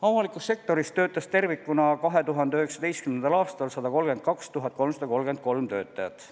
Avalikus sektoris tervikuna töötas 2019. aastal 132 333 töötajat.